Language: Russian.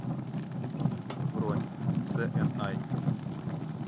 бронь цээнай